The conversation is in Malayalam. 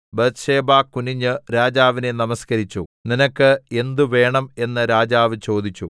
ബത്ത്ശേബ കുനിഞ്ഞ് രാജാവിനെ നമസ്കരിച്ചു നിനക്ക് എന്ത് വേണം എന്ന് രാജാവ് ചോദിച്ചു